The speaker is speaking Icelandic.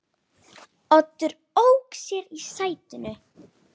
Oddur ók sér í sætinu.